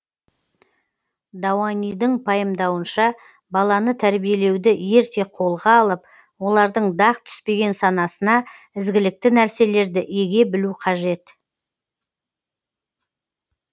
дауанидың пайымдауынша баланы тәрбиелеуді ерте қолға алып олардың дақ түспеген санасына ізгілікті нәрселерді еге білу қажет